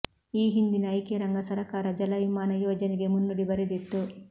ಈ ಹಿಂದಿನ ಐಕ್ಯರಂಗ ಸರಕಾರ ಜಲ ವಿಮಾನ ಯೋಜನೆಗೆ ಮುನ್ನುಡಿ ಬರೆದಿತ್ತು